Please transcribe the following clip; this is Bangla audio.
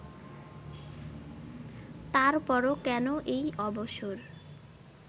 তারপরও কেন এই অবসর